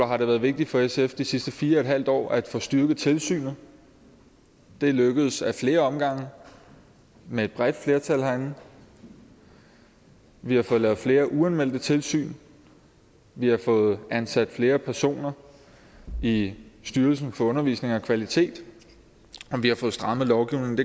har det været vigtigt for sf de sidste fire en halv år at få styrket tilsynet det er lykkedes ad flere omgange med et bredt flertal herinde vi har fået lavet flere uanmeldte tilsyn vi har fået ansat flere personer i styrelsen for undervisning og kvalitet og vi har fået strammet lovgivningen